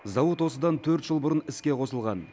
зауыт осыдан төрт жыл бұрын іске қосылған